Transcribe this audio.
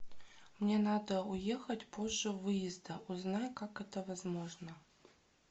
мне надо уехать позже выезда узнай как это возможно